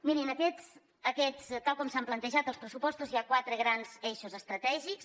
mirin tal com s’han plantejat els pressupostos hi ha quatre grans eixos estratègics